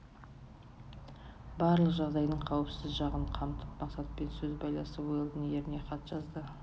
барлық жағдайдың қауіпсіз жағын қамтып мақсатпен сөз байласып уэлдон еріне хат жазды